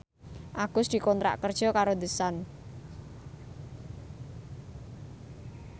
Agus dikontrak kerja karo The Sun